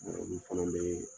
fana bɛ ye.